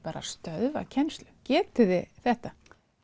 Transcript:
stöðva kennslu getið þið þetta